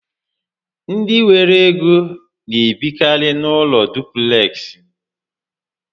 Ndị nwere ego n'ebikari n'ụlọ dupleksị